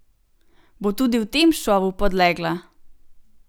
Bo tudi v tem šovu podlegla?